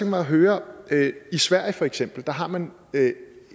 mig at høre i sverige for eksempel har man